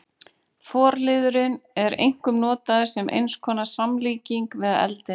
Forliðurinn er einkum notaður sem eins konar samlíking við eldinn.